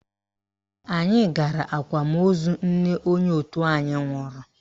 Anyị gara akwamozu nne onye òtù anyị nwụrụ